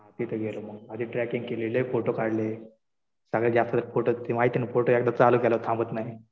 तिथं गेलो मग. आधी ट्रॅकिंग केली. लय फोटो काढले. सगळ्यात जास्त फोटो ते माहितीये ना फोटो एकदा चालू केले तर थांबत नाही.